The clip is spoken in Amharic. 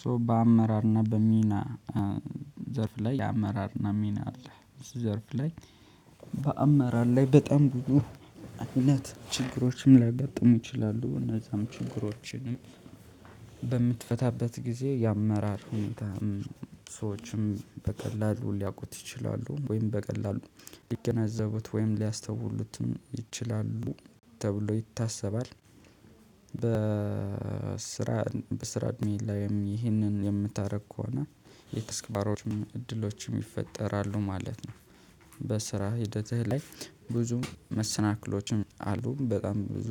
ሶ በአመራርና በሚና ዘርፍ ላይ አመራርና ሚና አለ ዘርፍ ላይ በአመራር ላይ በጣም ብዙ እውነት ችግሮችም ላጋጥሙ ይችላሉ እነዛም ችግሮችም። በምትፈታበት ጊዜ የአመራር ሁኔታ ሰዎችን በቀላሉ ሊያውቁት ይችላሉ ወይም በቀላሉ ሊገነዘቡት ወይም ሊያስተውሉትም ይችላሉ ተብሎ ይታሰባል። በስራ በስራ እድሜ ላይም ይህንን የምታደርግ ከሆነ የትስክብሮችም እድሎችም ይፈጠራሉ ማለት ነው። በስራ ሂደትህ ላይ። ብዙ መሰናክሎችም አሉ በጣም ብዙ